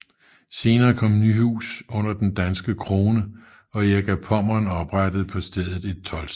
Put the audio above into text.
Senere kom Nyhus under den danske krone og Erik af Pommern oprettede på stedet et toldsted